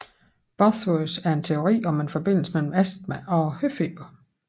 Bosworth en teori om en forbindelse mellem astma og høfeber